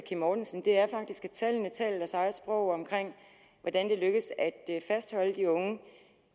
kim mortensen er faktisk at tallene taler deres eget sprog om hvordan det lykkes at fastholde de unge